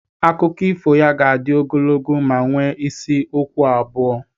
Akụkọ ifo ya ga-adị ogologo ma nwee isi okwu abụọ.